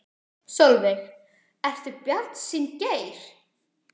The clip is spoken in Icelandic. Sólveig: Ertu bjartsýnn Geir?